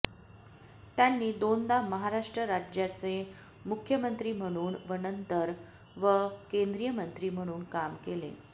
त्यांनी दोनदा महाराष्ट्र राज्याचाे मुख्यमंत्री म्हणूम व नंतर व केंद्रीय मंत्री म्हणून काम केले